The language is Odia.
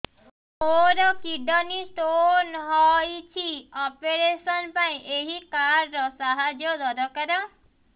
ମୋର କିଡ଼ନୀ ସ୍ତୋନ ହଇଛି ଅପେରସନ ପାଇଁ ଏହି କାର୍ଡ ର ସାହାଯ୍ୟ ଦରକାର